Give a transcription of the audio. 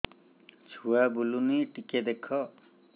ଛୁଆ ବୁଲୁନି ଟିକେ ଦେଖ